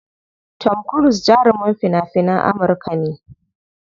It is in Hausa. Tom cruse jarumin fina finan Amurka ne.